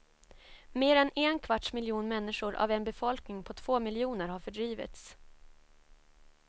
Mer än en kvarts miljon människor av en befolkning på två miljoner har fördrivits.